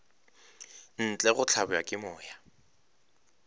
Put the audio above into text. ntle go hlabja ke moya